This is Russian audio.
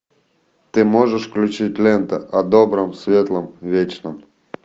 ты можешь включить лента о добром светлом вечном